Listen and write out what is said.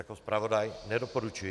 Jako zpravodaj nedoporučuji.